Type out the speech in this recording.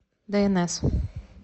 дээнэс